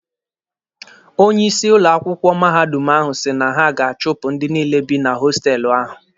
Onye isi ụlọ akwụkwọ mahadum ahụ si na ha ga-achụpụ ndị niile bị na hostelụ ahụ.